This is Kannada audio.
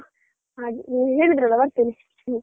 ಹಾಗೆ ನೀವ್ ಹೇಳಿದ್ರಲ್ಲಾ ಬರ್ತೇನೆ.